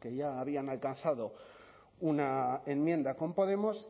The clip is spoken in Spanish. que ya habían alcanzado una enmienda con podemos